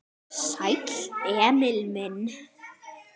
Sæll, Emil minn.